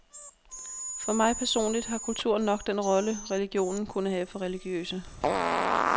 For mig personligt har kulturen nok den rolle, religionen kunne have for religiøse.